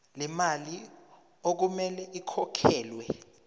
lemali okumele ikhokhelwe